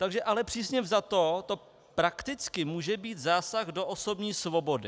Takže ale přísně vzato to prakticky může být zásah do osobní svobody.